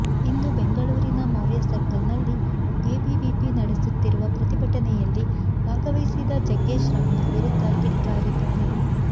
ಇಂದು ಬೆಂಗಳೂರಿನ ಮೌರ್ಯ ಸರ್ಕಲ್ ನಲ್ಲಿ ಎಬಿವಿಪಿ ನಡೆಸುತ್ತಿರುವ ಪ್ರತಿಭಟನೆಯಲ್ಲಿ ಭಾಗವಹಿಸಿದ ಜಗ್ಗೇಶ್ ರಮ್ಯಾ ವಿರುದ್ಧ ಕಿಡಿ ಕಾರಿದ್ದಾರೆ